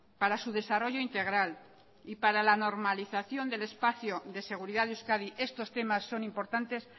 para su desarrollo integral y para la normalización del espacio de seguridad de euskadi estos temas son importantes